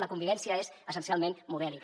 la convivència és essencialment modèlica